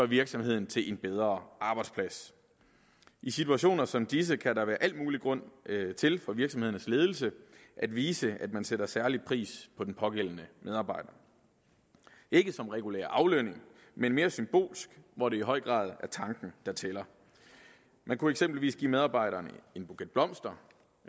virksomheden til en bedre arbejdsplads i situationer som disse kan der være al mulig grund til for virksomhedernes ledelse at vise at man sætter særlig pris på den pågældende medarbejder ikke som regulær aflønning men mere symbolsk hvor det i høj grad er tanken der tæller man kunne eksempelvis give medarbejderen en buket blomster